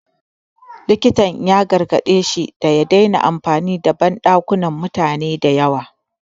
Likitan ya gargaɗe shi da ya dena amfani da banɗakunan mutane da yawa